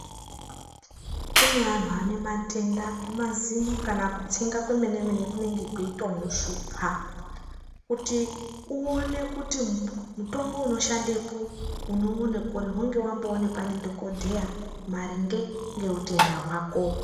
Kune antu ane matoenda emazino kana kutsenga kwemene mene kunenge kweitomushupa kuti uone kuti mutombo unoshandepo unouona kuri hunge wamboonekwa ndi dhokodheya maringe ngeutenda hwako.